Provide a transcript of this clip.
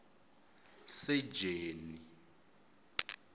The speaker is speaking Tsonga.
sejeni